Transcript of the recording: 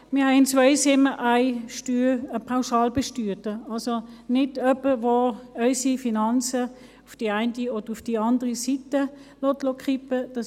Wir haben in Zweisimmen einen Pauschalbesteuerten, also niemanden, der unsere Finanzen auf die eine oder auf die andere Seite kippen lässt.